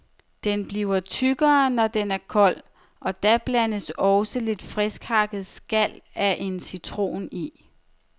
Den bliver tykkere, når den er kold, og da blandes også lidt finthakkt skal af en citron i.